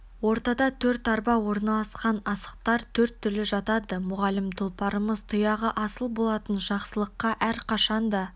ортада төрт арба орналасқан асықтар төрт түрлі жатады мұғалім тұлпарымыз тұяғы асыл болатын жақсылыққа әрқашанда